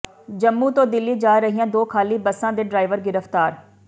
ਜੰਮੂ ਤੋਂ ਦਿੱਲੀ ਜਾ ਰਹੀਆਂ ਦੋ ਖਾਲੀ ਬੱਸਾਂ ਦੇ ਡਰਾਈਵਰ ਗ੍ਰਿਫਤਾਰ